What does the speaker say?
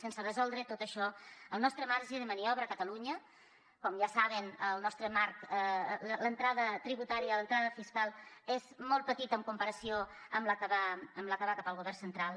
sense resoldre tot això el nostre marge de maniobra a catalunya com ja saben el nostre marc l’entrada tributària l’entrada fiscal és molt petita en comparació amb la que va cap al govern central